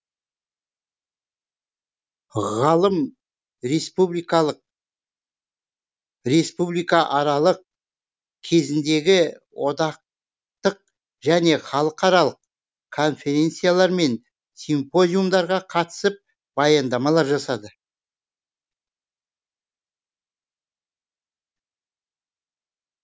ғалым республикалық республикааралық кезіндегі одақтық және халықаралық конференциялар мен симпозиумдарға қатысып баяндамалар жасады